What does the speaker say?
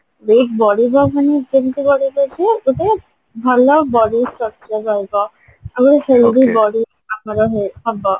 weight ବଢିବ ମାନେ କେମତି ବଢିବ କୁହ ଯେତେବେଳେ ଭଲ body structure ରହିବା ଆଉ healthy body ଆମର ହବ